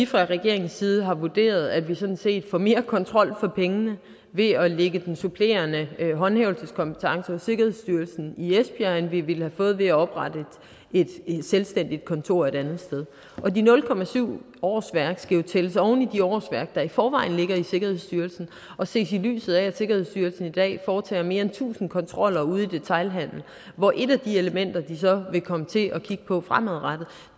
fra regeringens side vurderet at vi sådan set får mere kontrol for pengene ved at lægge den supplerende håndhævelseskompetence hos sikkerhedsstyrelsen i esbjerg end vi ville have fået ved at oprette et selvstændigt kontor et andet sted og de nul årsværk skal jo tælles oven i de årsværk der i forvejen ligger i sikkerhedsstyrelsen og ses i lyset af at sikkerhedsstyrelsen i dag foretager mere end tusind kontroller ude i detailhandelen hvor et af de elementer de så vil komme til at kigge på fremadrettet